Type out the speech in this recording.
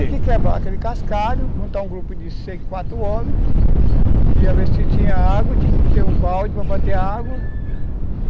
Tinha que quebrar aquele cascalho, juntar um grupo de seis, quatro homens, ia ver se tinha água, tinha que ter um balde para bater a água.